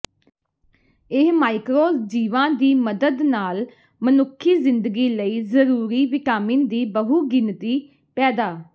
ਇਹ ਮਾਈਕਰੋ ਜੀਵਾ ਦੀ ਮਦਦ ਨਾਲ ਮਨੁੱਖੀ ਜ਼ਿੰਦਗੀ ਲਈ ਜ਼ਰੂਰੀ ਵਿਟਾਮਿਨ ਦੀ ਬਹੁਗਿਣਤੀ ਪੈਦਾ